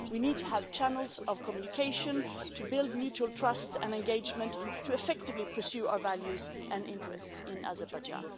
We need to have channels of communication to build mutual trust and engagement to effectively pursue our values and interests in Azerbaijan.